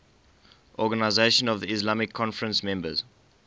organisation of the islamic conference members